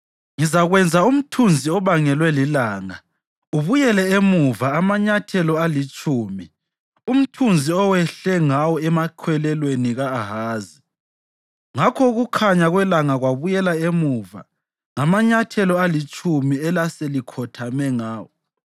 Ngizakwenza umthunzi obangelwe lilanga ubuyele emuva amanyathelo alitshumi umthunzi owehle ngawo emakhwelelweni ka-Ahazi.’ ” Ngakho ukukhanya kwelanga kwabuyela emuva ngamanyathela alitshumi elaselikhothame ngawo.